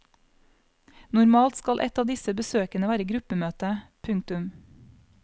Normalt skal et av disse besøkene være gruppemøte. punktum